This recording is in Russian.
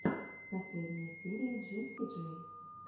последняя серия джесси джей